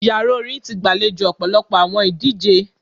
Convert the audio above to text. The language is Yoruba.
Yara orin ti gbalejo ọpọlọpọ awọn idije